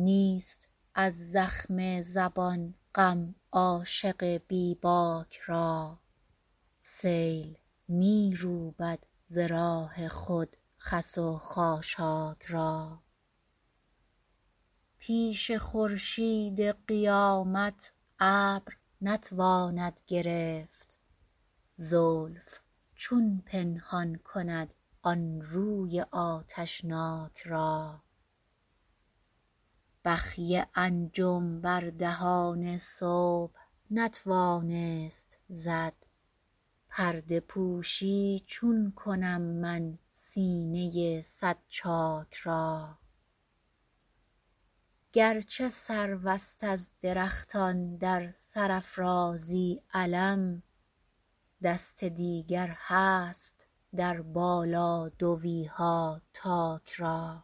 نیست از زخم زبان غم عاشق بی باک را سیل می روبد ز راه خود خس و خاشاک را پیش خورشید قیامت ابر نتواند گرفت زلف چون پنهان کند آن روی آتشناک را بخیه انجم بر دهان صبح نتوانست زد پرده پوشی چون کنم من سینه صد چاک را گرچه سروست از درختان در سرافرازی علم دست دیگر هست در بالادویها تاک را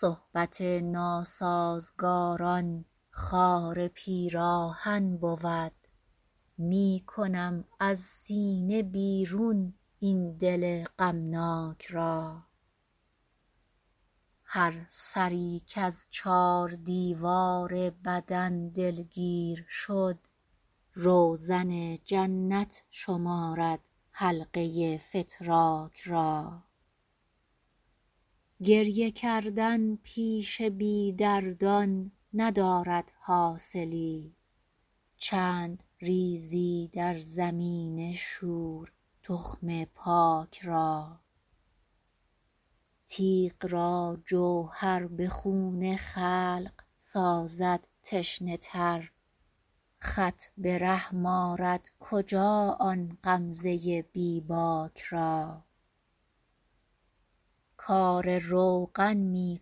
صحبت ناسازگاران خار پیراهن بود می کنم از سینه بیرون این دل غمناک را هر سری کز چار دیوار بدن دلگیر شد روزن جنت شمارد حلقه فتراک را گریه کردن پیش بی دردان ندارد حاصلی چند ریزی در زمین شور تخم پاک را تیغ را جوهر به خون خلق سازد تشنه تر خط به رحم آرد کجا آن غمزه بی باک را کار روغن می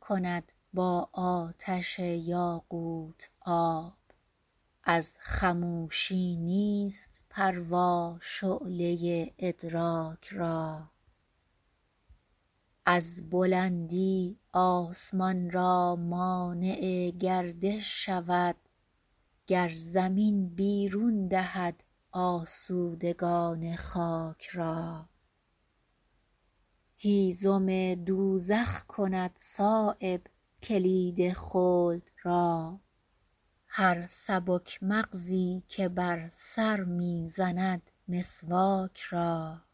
کند با آتش یاقوت آب از خموشی نیست پروا شعله ادراک را از بلندی آسمان را مانع گردش شود گر زمین بیرون دهد آسودگان خاک را هیزم دوزخ کند صایب کلید خلد را هر سبک مغزی که بر سر می زند مسواک را